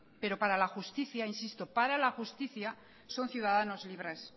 pero para la justicia insisto para la justicia son ciudadanos libres